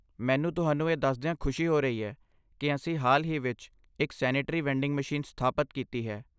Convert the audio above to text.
ਮੈਨੂੰ ਤੁਹਾਨੂੰ ਇਹ ਦੱਸਦਿਆਂ ਖੁਸ਼ੀ ਹੋ ਰਹੀ ਹੈ ਕਿ ਅਸੀਂ ਹਾਲ ਹੀ ਵਿੱਚ ਇੱਕ ਸੈਨੇਟਰੀ ਵੈਂਡਿੰਗ ਮਸ਼ੀਨ ਸਥਾਪਤ ਕੀਤੀ ਹੈ।